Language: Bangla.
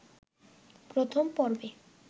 প্রথম পর্বে